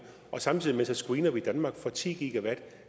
og samtidig screener vi danmark for ti